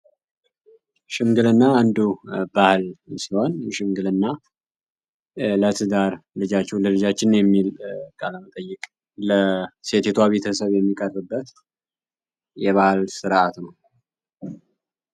ሽምግልና አንዱ ባህል ሲሆን ሽምግልና ለትዳር ልጃችሁ ለልጃችን የሚል ቀለመ ጠይቅ ለሴቴቷ ቤተሰብ የሚቀርበት የባህል ሥርዓት ነው